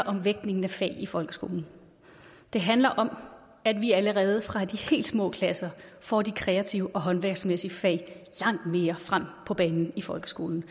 om vægtningen af fag i folkeskolen det handler om at vi allerede fra de helt små klasser får de kreative og håndværksmæssige fag langt mere frem på banen i folkeskolen